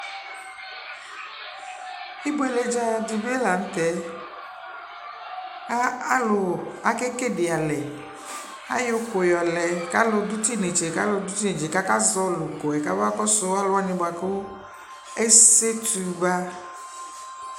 Ibueledzadɩ bɩ la nʋtɛɛ : a alʋ ake kedialɛ; ay' ʋkʋ yɔlɛ k'alʋ dʋ t'inetse , k'alʋ dʋ t'inetse , k'aka zɔɔlɩ ʋkʋɛ k'aba kɔsʋ alʋwanɩ bʋa k'esetu ba